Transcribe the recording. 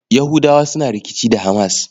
Yahudawa suna rikici da HAMAS.